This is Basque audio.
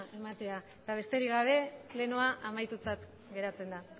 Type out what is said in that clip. ematea besterik gabe plenoa amaitutzat geratzen da